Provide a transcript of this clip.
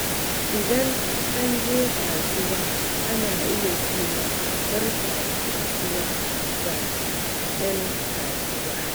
Idan an je kasuwa, ana iya cewa "Barka da kasuwa" ga 'yan kasuwa.